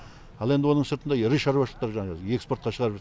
ал енді оның сыртында ірі шаруашылықтар жаңағы экспортқа шығарып жатыр